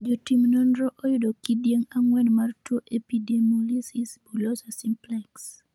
jo tim nonro, oyudo kidieng' ang'uen mar tuo epidemolysis bullosa simplex